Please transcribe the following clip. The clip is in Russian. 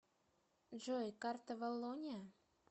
джой карта валлония